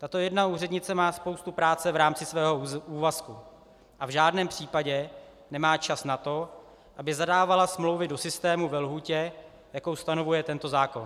Tato jedna úřednice má spoustu práce v rámci svého úvazku a v žádném případě nemá čas na to, aby zadávala smlouvy do systému ve lhůtě, jakou stanovuje tento zákon.